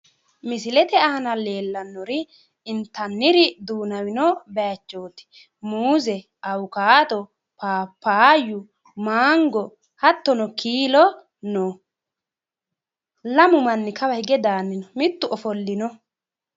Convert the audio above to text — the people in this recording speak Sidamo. Misilete aana leellannori intanniri duunamino baayiichooti muuze awukaato paapayu mango hattono kiilo no. Lamu manni kawa hige daanni no.